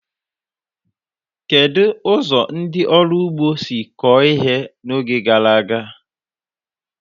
Kedu ụzọ ndị ọrụ ugbo si kọọ ihe n'oge gara aga?